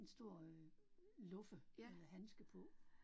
En stor øh luffe eller handske på